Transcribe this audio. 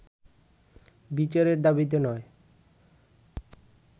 বিচারের দাবিতে নয়